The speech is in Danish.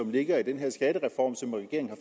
ligger i den her skattereform som regeringen